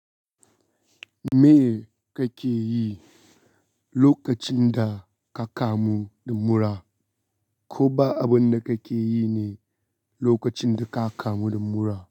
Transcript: Me kake yi lokacin da ka kamu da mura? Ko ba abun da kake yi ne lokacin da ka kamu da mura?